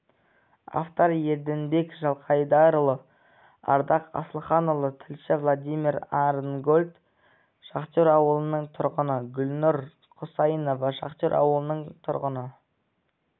авторы ерденбек жылқайдарұлы ардақ асылханұлы тілші владимир арнгольд шахтер ауылының тұрғыны гүлнұр құсайынова шахтер ауылының тұрғыны